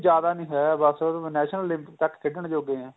ਜਿਆਦਾ ਨੀਂ ਹੈਂ ਬੱਸ national limit ਤੱਕ ਖੇਡਣ ਜੋਗੇ ਏ